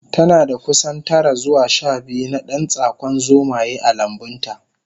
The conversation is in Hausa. Tanada kusan tara zuwa shabiyu na dan tsakon zomaye a lambunta